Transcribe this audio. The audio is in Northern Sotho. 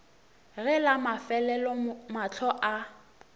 ge la mafelelo mahlo a